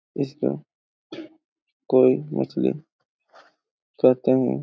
इसको कोई मछली कहते है।